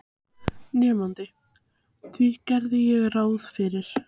Nemandi: Því geri ég ráð fyrir